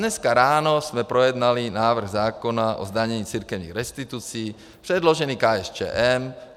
Dneska ráno jsme projednali návrh zákona o zdanění církevních restitucí předložený KSČM.